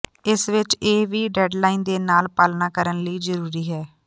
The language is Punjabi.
ਇਸ ਵਿਚ ਇਹ ਵੀ ਡੈੱਡਲਾਈਨ ਦੇ ਨਾਲ ਪਾਲਣਾ ਕਰਨ ਲਈ ਜ਼ਰੂਰੀ ਹੈ